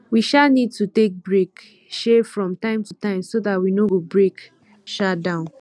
we um need to take break um from time to time so dat we no go break um down